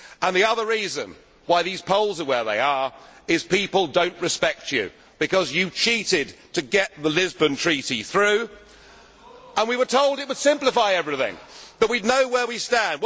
The other reason why these polls are where they are is that people do not respect you because you cheated to get the Lisbon Treaty through. We were told it would simplify everything, that we would know where we stand.